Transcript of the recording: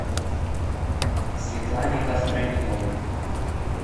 светлане костроминой